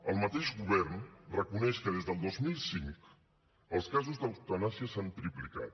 el mateix govern reconeix que des del dos mil cinc els casos d’eutanàsia s’han triplicat